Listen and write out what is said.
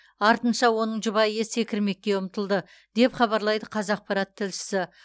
артынша оның жұбайы секірмекке ұмтылды деп хабарлайды қазақпарат тілшісі